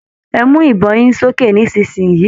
Ẹ mu ibọn yín sókè nisinyi í!